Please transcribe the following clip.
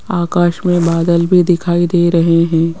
आकाश में बादल भी दिखाई दे रहे हैं।